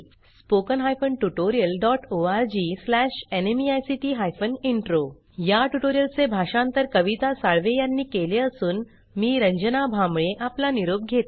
spoken hyphen tutorial dot O R G slash NMEICT hyphen intro या tutorial चे भाषांतर कविता साळवे यांनी केले असून मी रंजना भांबाळे आपला निरोप घेते